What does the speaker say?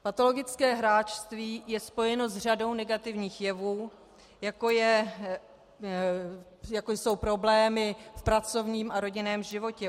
Patologické hráčství je spojeno s řadou negativních jevů, jako jsou problémy v pracovním a rodinném životě.